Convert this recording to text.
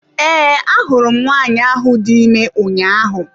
Ee, ahụrụ m nwanyị ahụ dị ime ụnyaahụ.